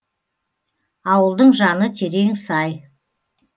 ауылдың жаны терең сай